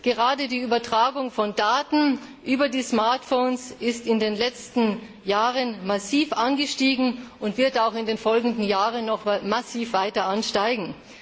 Gerade die Übertragung von Daten über die Smartphones ist in den letzten Jahren massiv angestiegen und wird auch in den kommenden Jahren noch massiv weiter ansteigen.